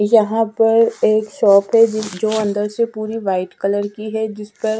यहां पर एक शॉप है जो अन्दर से पूरी व्हाइट कलर की है जिस पर--